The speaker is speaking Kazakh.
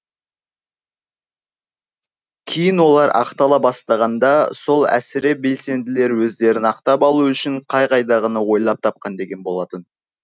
кейін олар ақтала бастағанда сол әсіре белсенділер өздерін ақтап алу үшін қай қайдағыны ойлап тапқан деген болатын